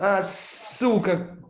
аа сука